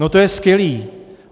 No to je skvělé.